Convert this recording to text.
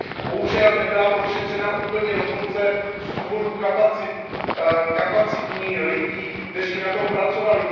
Bohužel nebyla prošetřena úplně do konce z důvodu kapacity lidí, kteří na tom pracovali.